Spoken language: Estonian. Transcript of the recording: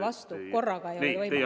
Mõlemad korraga ei ole võimalik.